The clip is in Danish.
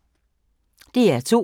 DR2